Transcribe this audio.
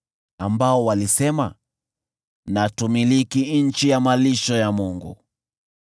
ambao walisema, “Na tumiliki nchi ya malisho ya Mungu.”